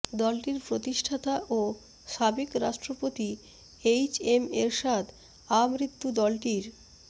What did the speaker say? দলটির প্রতিষ্ঠাতা ও সাবেক রাষ্ট্রপতি এইচ এম এরশাদ আমৃত্যু দলটির